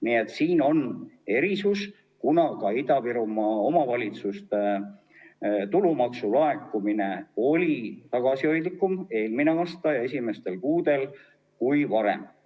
Nii et siin on erinevus, kuna ka Ida‑Virumaa omavalitsuste tulumaksu laekumine oli eelmisel aastal ja selle aasta esimestel kuudel tagasihoidlikum kui varem.